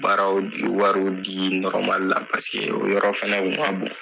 Baaraw wɔriw dii la o yɔrɔ fɛnɛ tun man bon.